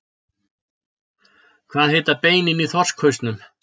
Hvað heita beinin í þorskhausnum?